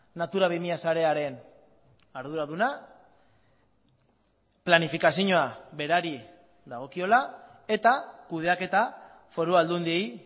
natura bi mila sarearen arduraduna planifikazioa berari dagokiola eta kudeaketa foru aldundiei